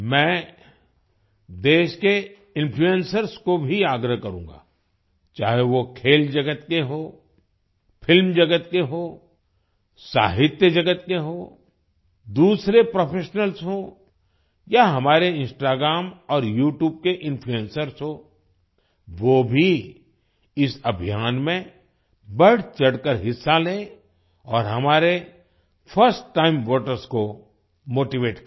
मैं देश के इन्फ्लूएंसर्स को भी आग्रह करूँगा चाहे वो खेल जगत के हों फिल्म जगत के हों साहित्य जगत के हों दूसरे प्रोफेशनल्स हों या हमारे इंस्टाग्राम और यूट्यूब के इन्फ्लूएंसर्स हों वो भी इस अभियान में बढचढ़कर हिस्सा लें और हमारे फर्स्ट टाइम वोटर्स को मोटीवेट करें